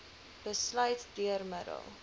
besluit deur middel